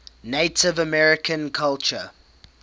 native american culture